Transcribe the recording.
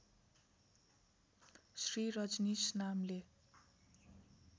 श्री रजनीश नामले